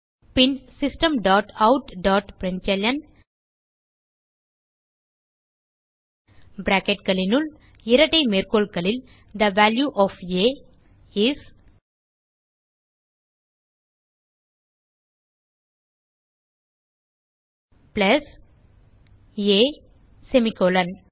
பின் system dot out dot println bracketகளுனுள் இரட்டை மேற்கோள்களில் the value of a is plus a semicolon